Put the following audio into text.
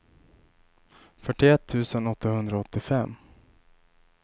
fyrtioett tusen åttahundraåttiofem